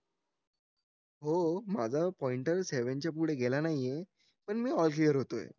हो माझा पॉईंटर सेवनच्या पुढे गेला नाहीये पण मी ऑल क्लीयर होतोय